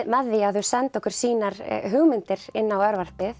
með því að þau sendi okkur sínar hugmyndir inn á